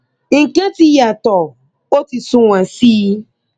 nǹkan ti yàtọ o ti sunwọn sí i